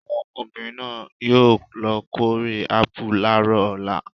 Àwọn obìnrin náà yóò lọ kórè ápù láàárọ̀ ọ̀la.